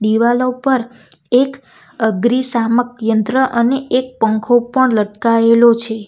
દિવાલો ઉપર એક અગ્રિશામક યંત્ર અને એક પંખો પણ લટકાયેલો છે.